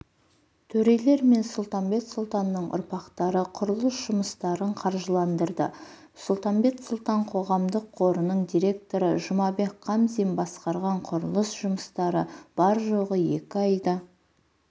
төрелердің мен сұлтанбет сұлтанның ұрпақтары құрылыс жұмыстарын қаржыландырды сұлтанбет сұлтан қоғамдық қорының директоры жұмабек қамзин басқарған құрылыс жұмыстары бар-жоғы екі айда